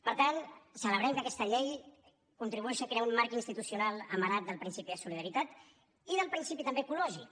per tant celebrem que aquesta llei contribueixi a crear un marc institucional amarat del principi de solidaritat i del principi també ecològic